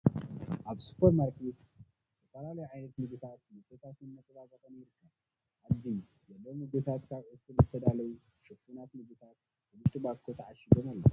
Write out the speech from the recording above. ኣብ ስፖርማርኬት ዝፈላለዩ ዓይነታት ምግብታት ፣ መስተታትን፣ መፃባበቅን ይርከቡ ። ኣብዚ ዘለው ምግብታት ካብ ዕፉን ዝተዳለው ሽፉናት ምግብታት ኣብ ውሽጢ ባኮ ተኣሺጎም ኣለው።